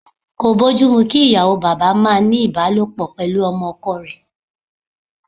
Kò bójú mu kí ìyàwó bàbá máa ní ìbálòpọ̀ pẹ̀lú ọmọ ọkọ rẹ̀.